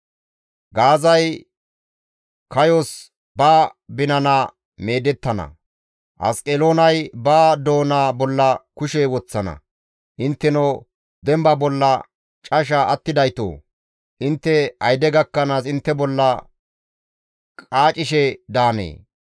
Gaazay kayos ba binana meedettana; Asqeloonay ba doona bolla kushe woththana; intteno demba bolla casha attidaytoo! Intte ayde gakkanaas intte bolla qaacishe daanee?